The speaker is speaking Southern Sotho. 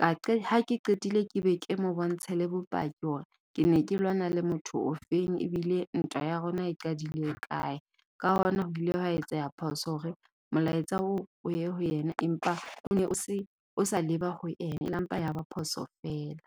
Ka qe ha ke qetile ke be ke mo bontshe le bopaki hore ke ne ke lwana le motho ofeng ebile ntwa ya rona e qadile hokae. Ka hona ho bile wa etseya phoso hore molaetsa o ye ho yena empa o ne o se o sa leba ho ena e la mpa yaba phoso feela.